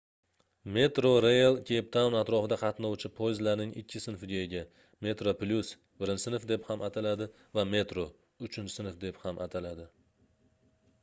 metrorail keyptaun atrofida qatnovchi poyezdlarning ikki sinfiga ega: metroplus birinchi sinf deb ham ataladi va metro uchinchi sinf deb ham ataladi